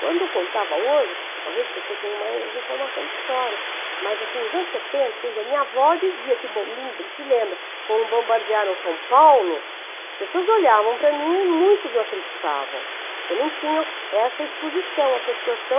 Quando eu contava hoje, talvez as pessoas tenham mais informação de história, mas assim, nos anos setenta, quando dizia, minha avó dizia que, se lembra, quando bombardearam São Paulo, as pessoas olhavam para mim e muitos não acreditavam, porque não tinham essa exposição a pessoas tão...